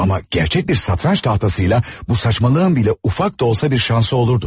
Amma gerçək bir satranç tahtasıyla bu saçmalığın belə ufak da olsa bir şansı olurdu.